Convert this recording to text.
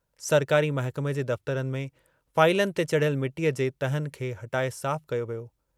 सरकारी महकमे जे दफ्तरनि में फाईलनि ते चढ़ियल मिटीअ जे तहनि खे हटाए साफ़ कयो वियो।